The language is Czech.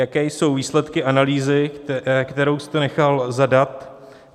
Jaké jsou výsledky analýzy, kterou jste nechal zadat?